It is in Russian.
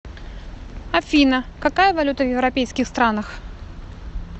афина какая валюта в европейских странах